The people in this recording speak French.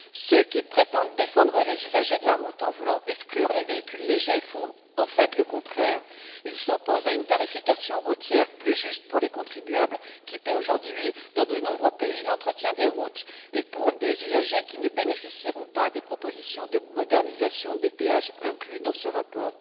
Ceux qui prétendent défendre les usagers de la route en voulant exclure les véhicules légers font en fait le contraire ils s'opposent à une tarification routière plus juste pour les contribuables, qui paient aujourd'hui dans de nombreux pays l'entretien des routes, et pour les usagers qui ne bénéficieront pas des propositions de modernisation des péages inclues dans ce rapport.